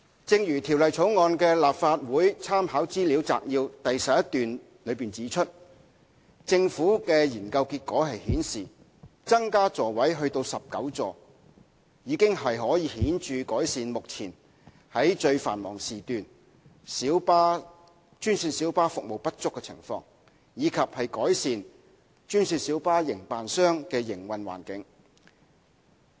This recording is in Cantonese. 正如《條例草案》的立法會參考資料摘要第11段中指出，政府的研究結果顯示，增加座位至19個已可顯著改善目前在最繁忙時段專線小巴服務不足的情況，以及改善專線小巴營辦商的營運環境。